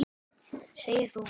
Segir þú.